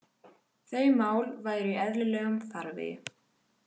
Þau mál væru í eðlilegum farvegi